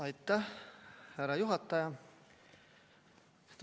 Aitäh, härra juhataja!